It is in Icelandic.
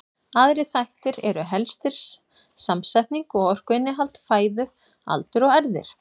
Aðrir þættir eru helstir samsetning og orkuinnihald fæðu, aldur og erfðir.